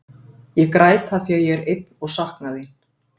Ég græt af því að ég er einn og sakna þín.